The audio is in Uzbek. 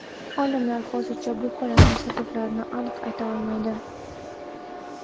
Olimlar hozircha bu holatning sabablarini aniq ayta olmaydi.